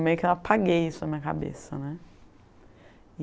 Meio que eu apaguei isso na minha cabeça, né?